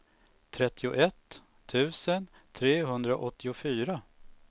trettioett tusen trehundraåttiofyra